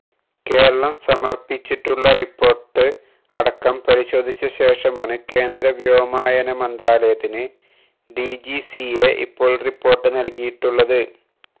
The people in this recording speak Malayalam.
കേരളം സമര്പ്പിച്ചിട്ടുള്ള റിപ്പോര്ട്ട് അടക്കം പരിശോധിച്ച ശേഷമാണ് കേന്ദ്രവ്യോമയാന മന്ത്രാലയത്തിന് ഡിജിസിഎ ഇപ്പോള് റിപ്പോര്ട്ട് നല്കിയിട്ടുള്ളത്